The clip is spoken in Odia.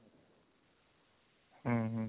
ହୁଁ ହୁଁ